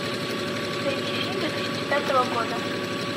найди фильм две тысячи пятого года